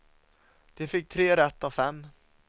De fick tre rätt av fem.